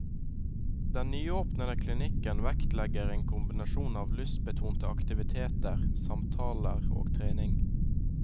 Den nyåpnede klinikken vektlegger en kombinasjon av lystbetonte aktiviteter, samtaler og trening.